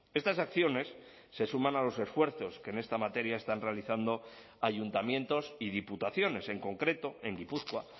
estas acciones se suman a los esfuerzos que en esta materia están realizando ayuntamientos y diputaciones en concreto en gipuzkoa